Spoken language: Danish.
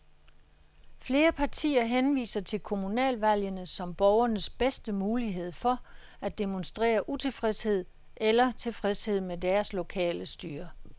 Flere partier henviser til kommunalvalgene som borgernes bedste mulighed for at demonstrere utilfredshed eller tilfredshed med deres lokale styre.